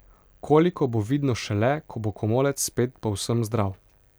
Koliko, bo vidno šele, ko bo komolec spet povsem zdrav.